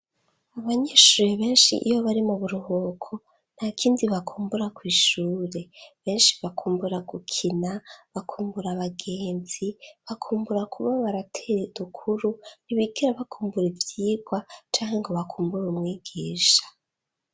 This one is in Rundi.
Abanyeshure benshi iyo bari mu buruhuko ntakindi bakumbura kwishure, benshi bakumbura gukina, bakumbura abagenzi, bakumbura kuba baratere dukuru ntibigera bakumbura ivyigwa canke ngo bakumbure umwigisha.